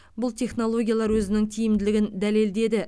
бұл технологиялар өзінің тиімділігін дәлелдеді